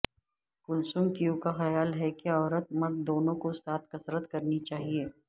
کلصم کیو کا خیال ہے کہ عورت مرد دونوں کو ساتھ کسرت کرنی چاہیے